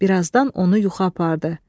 Birazdan onu yuxu apardı.